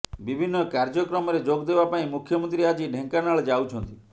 ବିଭିନ୍ନ କାର୍ଯ୍ୟକ୍ରମରେ ଯୋଗ ଦେବା ପାଇଁ ମୁଖ୍ୟମନ୍ତ୍ରୀ ଆଜି ଢେଙ୍କାନାଳ ଯାଉଛନ୍ତି